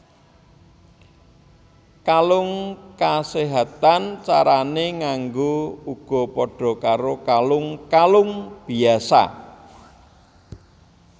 Kalung kaséhatan carané nganggo uga padha karo kalung kalung biyasa